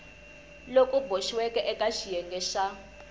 loku boxiweke eka xiyenge xa